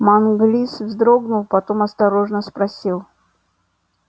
манглис вздрогнул потом осторожно спросил